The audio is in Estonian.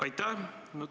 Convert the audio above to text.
Aitäh!